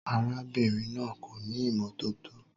Arábìnrin náà kò ní ìmọ́tótó.